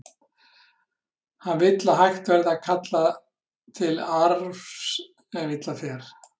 Hann vill að hægt verði að kalla til arfs ef illa fer.